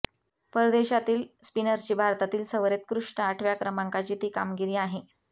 परदेशातील स्पिनर्सची भारतातील सवरेत्कृष्ट आठव्या क्रमांकाची ती कामगिरी आहे